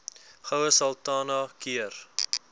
goue sultana keur